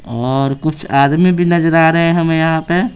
और कुछ आदमी भी नजर आ रहे हैंहमें यहां पे।